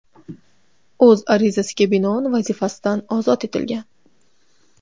o‘z arizasiga binoan vazifasidan ozod etilgan.